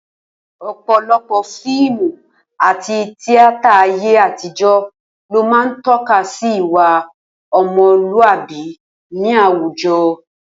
O̩pò̩lo̩pò̩ fíìmù àti tíátà ayé àtijó̩ ló máa ń tó̩ka sí ìwà o̩mo̩lúàbí ní àwùjo̩